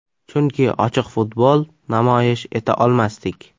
Chunki ochiq futbol namoyish eta olmasdik.